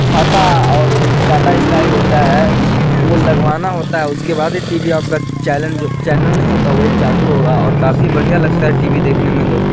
छाता और ये टाटा स्काई होता है वो लगवाना होता है उसके बाद ही टी.वी. आपका चैलेंज चैनल नहीं होता वो चालू होगा और काफी बढ़िया लगता है टी.वी. देखने में दोस्तों।